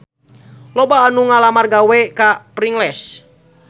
Loba anu ngalamar gawe ka Pringles